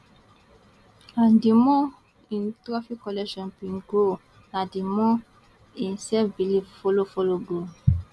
and di more im trophy collection bin grow na di more im selfbelief follow follow grow